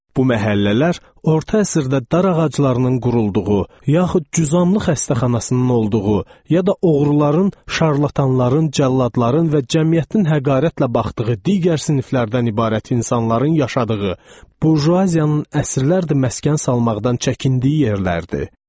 Bu məhəllələr orta əsrdə dar ağaclarının qurulduğu, yaxud cüzamlı xəstəxanasının olduğu, ya da oğruların, şarlatanların, cəlladların və cəmiyyətin həqarətlə baxdığı digər siniflərdən ibarət insanların yaşadığı, burjuaziyanın əsrlərdir məskən salmaqdan çəkindiyi yerlərdir.